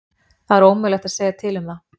Það er ómögulegt að segja til um það.